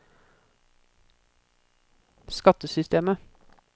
skattesystemet